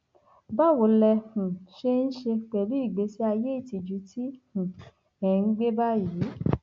báwo lẹ um ṣe ń ṣe pẹlú ìgbésí ayé ìtìjú tí um ẹ ń gbé báyìí